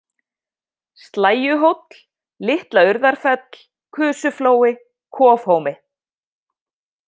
Slægjuhóll, Litla-Urðarfell, Kusuflói, Kofhómi